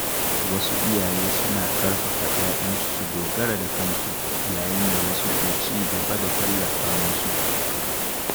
Wasu iyaye suna ƙarfafa ‘ya’yansu su dogara da kansu, yayin da wasu ke ci gaba da tallafa musu.